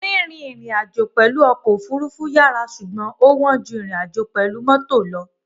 Rírìn ìrìnàjò pẹ̀lú ọkọ̀ òfurufú yàrá ṣùgbọ́n ó wọ́n ju ìrìnàjò pẹ̀lú mọ́tò.